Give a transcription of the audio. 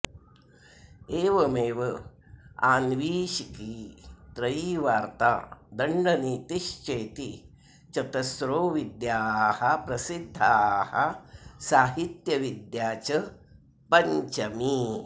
एवमेव आन्वीक्षिकी त्रयी वार्ता दण्डनीतिश्चेति चतस्रो विद्याः प्रसिद्धाः साहित्यविद्या च पञ्चमी